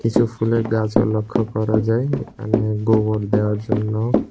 কিছু ফুলের গাছো লক্ষ্য করা যায় এখানে গোবর দেওয়ার জন্য--